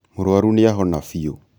mũrwaru nĩ ahona biũ